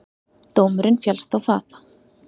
Dómurinn féllst á það.